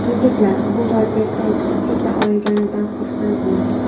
Yigitlar bu vaziyatdan chiqib keta olganidan xursandman.